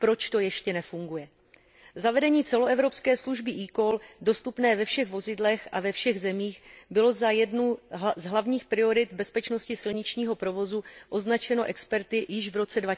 Proč to ještě nefunguje? Zavedení celoevropské služby eCall dostupné ve všech vozidlech a ve všech zemích bylo za jednu z hlavních priorit bezpečnosti silničního provozu označeno experty již v roce